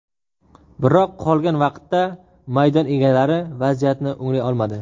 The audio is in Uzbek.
Biroq qolgan vaqtda maydon egalari vaziyatni o‘nglay olmadi.